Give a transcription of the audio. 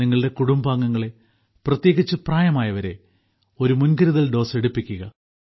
നിങ്ങളുടെ കുടുംബാംഗങ്ങളെ പ്രത്യേകിച്ച് പ്രായമായവരെ ഒരു മുൻകരുതൽ ഡോസ് എടുപ്പിക്കുക